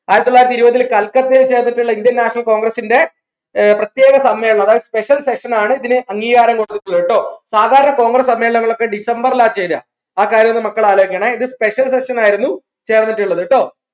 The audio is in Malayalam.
ആയിരത്തിത്തൊള്ളായിരത്തി ഇരുപതിൽ കൽക്കട്ടയിൽ ചേർന്നിട്ടുള്ള indian national congress ന്റെ ഏർ പ്രത്യേക സമ്മേളനം അതായത് special session ആണ് ഇതിന് അംഗീകാരം കൊടുത്തത് ട്ടോ സാധാരണ കോൺഗ്രസ് സമ്മേളനംഒക്കെ december ല ചേരാ ആ കാര്യം ഒന്ന് മക്കൾ ആലോയിക്കണേ ഇത് special session ആയിരുന്നു ചേർന്നിട്ടുള്ളത് ട്ടോ